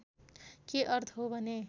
के अर्थ हो भने